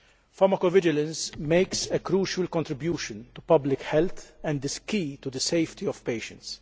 Pharmacovigilance makes a crucial contribution to public health and is key to the safety of patients.